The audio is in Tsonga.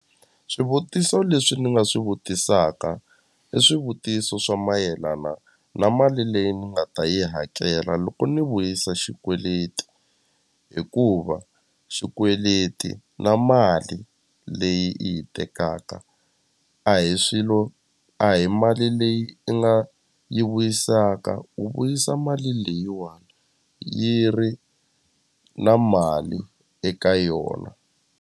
Swivutiso leswi ni nga swi vutisaka i swivutiso swa mayelana na mali leyi ni nga ta yi hakela loko ni vuyisa xikweleti hikuva xikweleti na mali leyi i yi tekaka a hi swilo a hi mali leyi i nga yi vuyisaka u vuyisa mali leyiwani yi ri na mali eka yona.